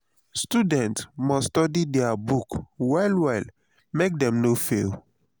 students must study their books well well make dem no fail